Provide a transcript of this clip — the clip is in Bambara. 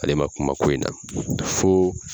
Ale ma kuma ko in na, fo